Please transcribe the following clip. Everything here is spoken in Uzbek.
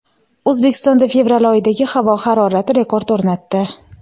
O‘zbekistonda fevral oyidagi havo harorati rekord o‘rnatdi.